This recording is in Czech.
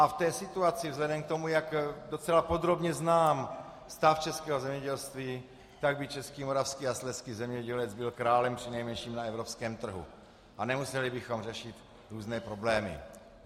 A v té situaci vzhledem k tomu, jak docela podrobně znám stav českého zemědělství, tak by český, moravský a slezský zemědělec byl králem přinejmenším na evropském trhu a nemuseli bychom řešit různé problémy.